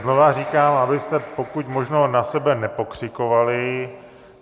Znovu říkám, abyste pokud možno na sebe nepokřikovali.